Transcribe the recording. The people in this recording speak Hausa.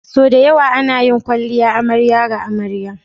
Sau da yawa ana yin kwalliya amarya ga amarya.